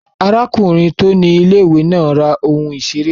Arákùnrin tó ni ilé-ìwé náà ra ohun ìseré kan